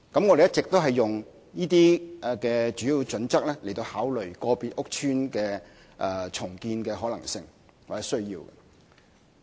我們一直沿用這些主要準則來考慮個別屋邨的重建可能性或需要。